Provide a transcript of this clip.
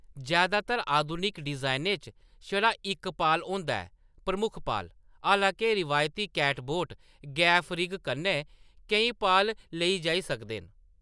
जैदातर आधुनिक डिजाइनें च छड़ा इक पाल होंदा ऐ, प्रमुख पाल; हालांके, रवायती कैटबोट गैफ रिग कन्नै केईं पाल लेई जाई सकदे न।